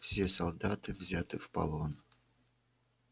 все солдаты взяты в полон